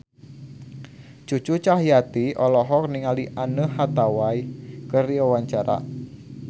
Cucu Cahyati olohok ningali Anne Hathaway keur diwawancara